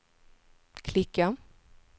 klicka